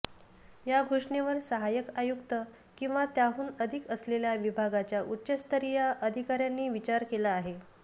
या घोषणेवर सहाय्यक आयुक्त किंवा त्याहून अधिक असलेल्या विभागाच्या उच्चस्तरीय अधिकाऱ्यांनी विचार केला आहे